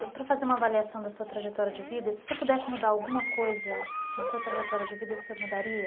Para fazer uma avaliação da sua trajetória de vida, se o senhor pudesse mudar alguma coisa na sua trajetória de vida, o senhor mudaria?